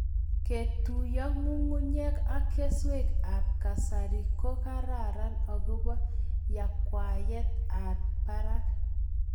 Ketuyo ng'ung'unyek ak keswek ab kasari ko karan akobo yakweyet ab barak